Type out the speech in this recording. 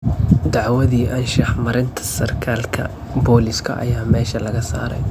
Dacwadii anshax marinta sarkaalka booliiska ayaa meesha laga saaray.